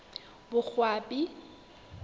boqwabi